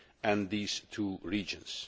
and these two regions.